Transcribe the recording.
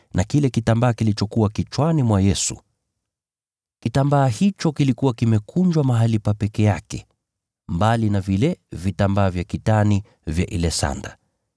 na kile kitambaa kilichokuwa kichwani mwa Yesu. Kitambaa hicho kilikuwa kimekunjwa mahali pa peke yake, mbali na vile vitambaa vya kitani vya ile sanda.